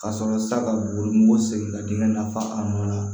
Ka sɔrɔ sa ka wolonugu segin ka dingɛ nafa an nɔ la